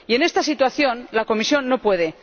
Y en esta situación, la Comisión no puede.